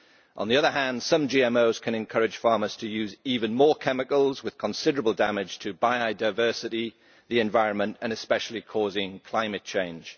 On the other hand, some GMOs can encourage farmers to use even more chemicals that cause considerable damage to biodiversity, the environment and, especially, cause climate change.